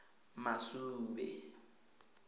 masube